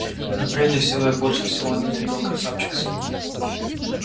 но прежде всего и больше всего он ненавидел красавчика смита